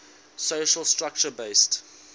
social structure based